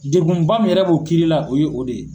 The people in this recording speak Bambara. Degun ba mun yɛrɛ b'o kiiri la o ye o de ye.